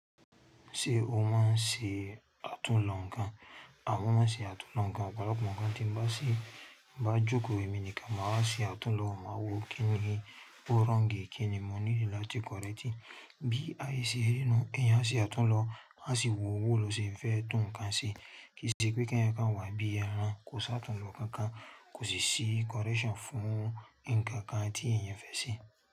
Ṣé o máa ń ṣe àtúnlo ǹkan? A waa ma ṣe àtúnlo ǹkan, ọ̀pọ̀lọpọ̀ ǹkan tí ń bá ṣe má jókòó èmi nìkan máa wa ṣe àtúnlo, máa wo kíni ó wrongi kíni mo nílò láti kọrẹ́ctí bí aye ṣe rí nú ẹ̀yin á ṣe àtúnlo, a sì wo owó ló ṣe ń fẹ́ tún ǹkan ṣe. Kì í ṣe pé kí ẹ̀yin kan wá bí ẹrán kò ṣe àtúnlo kankan, kò sì sí correction fún ǹkan kan tí ẹ̀yin fẹ́ ṣe.